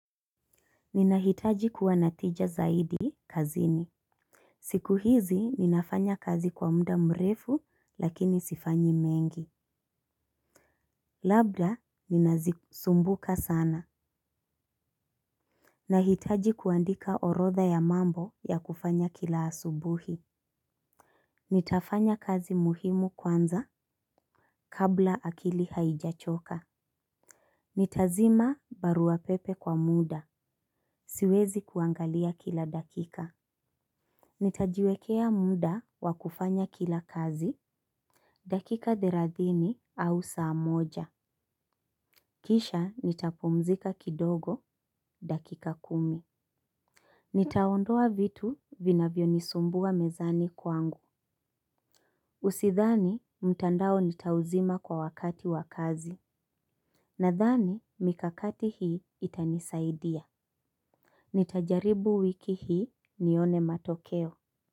Ninahitaji kuwa na tija zaidi kazini. Siku hizi ninafanya kazi kwa mda mrefu lakini sifanyi mengi. Labda ninazisumbuka sana. Nahitaji kuandika orodha ya mambo ya kufanya kila asubuhi. Nitafanya kazi muhimu kwanza kabla akili haijachoka. Nitazima barua pepe kwa muda siwezi kuangalia kila dakika. Nitajiwekea mda wa kufanya kila kazi. Dakika therathini au saa moja. Kisha nitapumzika kidogo dakika kumi. Nitaondoa vitu vinavyo nisumbua mezani kwangu. Usithani mtandao nitauzima kwa wakati wa kazi. Nadhani mikakati hii itanisaidia. Nitajaribu wiki hii nione matokeo.